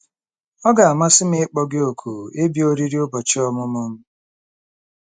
Ọ ga-amasị m ịkpọ gị òkù ịbịa oriri ụbọchị ọmụmụ m”